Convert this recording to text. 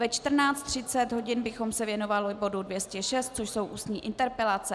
Ve 14.30 hodin bychom se věnovali bodu 206, což jsou ústní interpelace.